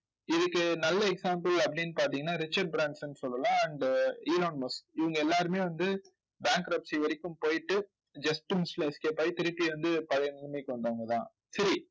இதுக்கு நல்ல example அப்படின்னு பாத்தீங்கன்னா ரிச்சர்ட் ப்ரான்சன் சொல்லலாம் and இவங்க எல்லாருமே வந்து bankruptcy வரைக்கும் போயிட்டு just miss ல escape ஆயி திருப்பி வந்து பழைய நிலைமைக்கு வந்தவங்கதான். சரி